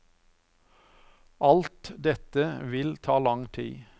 Alt dette vil ta lang tid.